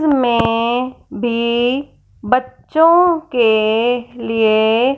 मैं भी बच्चों के लिए--